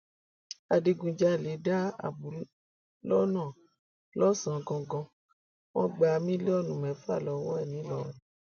adigunjalè dá àbù lọnà lọsànán gangan wọn gba mílíọnù mẹfà lọwọ ẹ nìlọrin